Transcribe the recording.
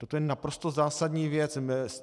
Toto je naprosto zásadní věc.